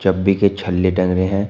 डब्बी के छल्ले टंग रहे हैं।